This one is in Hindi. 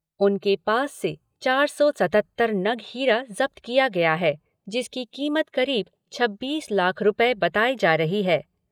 उनके पास से चार सौ सतहत्तर नग हीरा जब्त किया है, जिसकी कीमत करीब छब्बीस लाख रूपये बताई जा रही